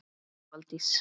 Helga Valdís.